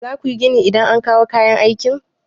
Za ku yi gini idan an kawo kayan aiki.